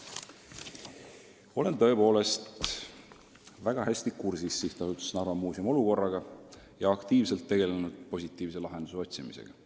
" Olen tõepoolest väga hästi kursis SA Narva Muuseum olukorraga ja aktiivselt tegelenud positiivse lahenduse otsimisega.